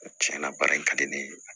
Tiɲɛ na baara in ka di ne ye